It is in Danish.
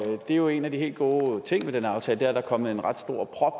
er jo en af de helt gode ting ved den her aftale at der er kommet en ret stor prop